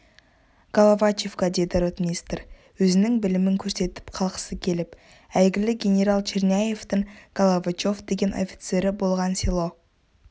головачевка деді ротмистр өзінің білімін көрсетіп қалғысы келіп әйгілі генерал черняевтің головачев деген офицері болған село